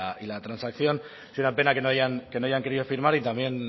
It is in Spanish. y la transacción es una pena que no hayan querido firmar y también no